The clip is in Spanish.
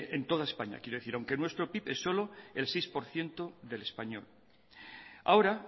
en toda españa aunque nuestro pib es solo el seis por ciento del español ahora